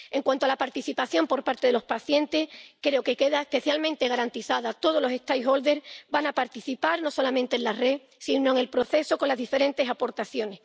En cuanto a la participación por parte de los pacientes, creo que queda especialmente garantizada todas las partes interesadas van a participar no solamente en la red, sino en el proceso, con las diferentes aportaciones.